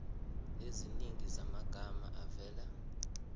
eziningi zamagama avela